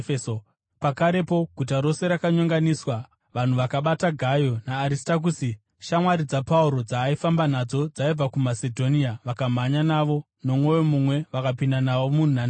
Pakarepo guta rose rakanyonganiswa. Vanhu vakabata Gayo naAristakusi, shamwari dzaPauro dzaaifamba nadzo dzaibva kuMasedhonia, vakamhanya navo nomwoyo mumwe vakapinda navo munhandare.